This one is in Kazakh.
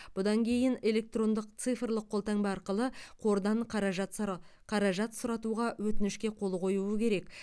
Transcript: бұдан кейін электрондық цифрлық қолтаңба арқылы қордан қаражат сыра қаражат сұратуға өтінішке қол қоюы керек